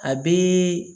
A bi